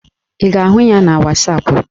Ị ga-ahụ ya na wasapụ?